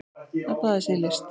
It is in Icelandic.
Að baða sig í list